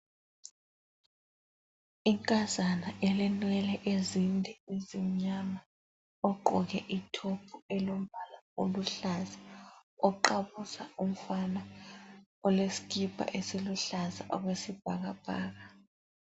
Inkazana elenwele ezinde ezimnyama ogqoke ithophu elombala oluhlaza oqabuza umfana olesikipa esiluhlaza okwesibhakabhaka.